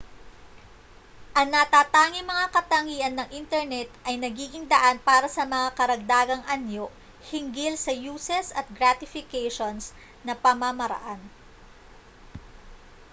ang natatanging mga katangian ng internet ay nagiging daan para sa mga karagdagang anyo hinggil sa uses at gratifications na pamamaraan